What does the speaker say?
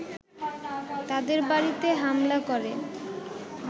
তাদের বাড়িতে হামলা করে